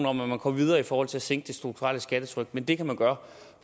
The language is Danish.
om at man går videre i forhold til at sænke det strukturelle skattetryk men det kan man gøre